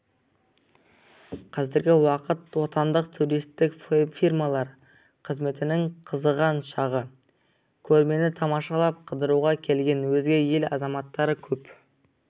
қазіргі уақыт отандық туристік фирмалар қызметінің қызыған шағы көрмені тамашалап қыдыруға келген өзге ел азаматтары көп